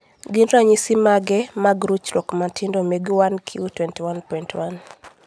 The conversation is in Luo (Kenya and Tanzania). gin ranyisi mage mag ruchruok matindo mag 1q21.1?